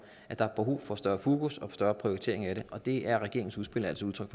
at der er brug for større fokus og for større prioritering af det og det er regeringens udspil altså udtryk